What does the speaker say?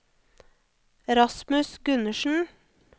Rasmus Gundersen